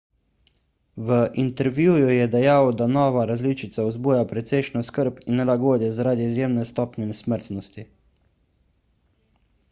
v intervjuju je dejal da nova različica vzbuja precejšnjo skrb in nelagodje zaradi izjemne stopnje smrtnosti